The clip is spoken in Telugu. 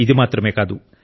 ఇది మాత్రమే కాదు